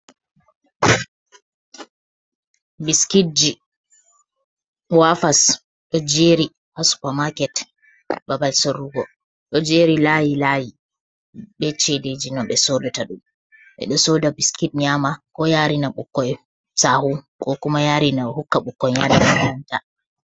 "Biskitji wafas" do jeri ha supa maaket babal sorrugo do jeri layi layi be sedeji no ɓe sodata ɗum ɓe ɗo soda biskit nyama ko yarina ɓukkoi sahu ko kuma yari na hukka ɓukkoi yada makaranta.